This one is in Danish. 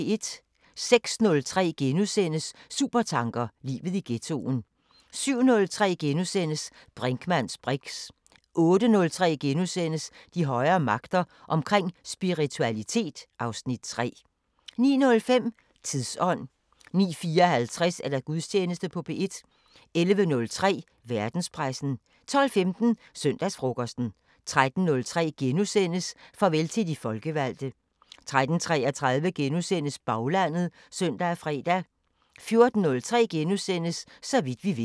06:03: Supertanker: Livet i ghettoen * 07:03: Brinkmanns briks * 08:03: De højere magter: Omkring spiritualitet (Afs. 3)* 09:05: Tidsånd 09:54: Gudstjeneste på P1 11:03: Verdenspressen 12:15: Søndagsfrokosten 13:03: Farvel til de folkevalgte * 13:33: Baglandet *(søn og fre) 14:03: Så vidt vi ved *